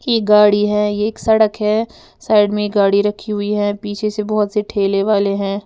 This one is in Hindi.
ये गाड़ी है ये एक सड़क है साइड में गाड़ी रखी हुई है पीछे से बोहोत से ठेले वाले हैं।